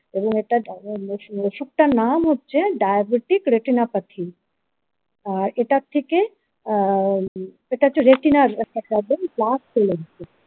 এবং এটা নাম হচ্ছে diabetic retinopathy আর এটার থেকে আ এটা হচ্ছে রেটিনার একটা প্রবলেম প্লাস।